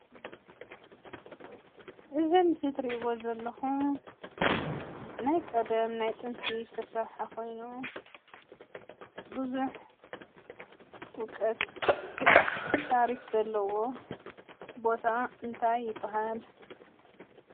እዚ አብ ምስሊ እትሪኢዎ ዘለኹም ናይ ቀደም ናይ ጥንቲ ዝተሰረሐ ኾይኑ ፣ ብዝሕ እውቀት ታሪክ ዘለዎ ቦታ እንታይ ይበሃል፡፡